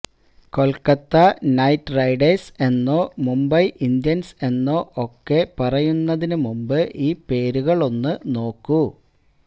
Kolkata night riders എന്നോ Mumbai Indians എന്നോ ഒക്കെ പറയുന്നതിന് മുമ്പ് ഈ പേരുകള് ഒന്ന് നോക്കൂ